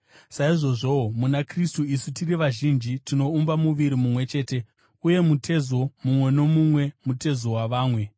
saizvozvowo muna Kristu isu tiri vazhinji, tinoumba muviri mumwe chete, uye mutezo mumwe nomumwe mutezo wavamwe.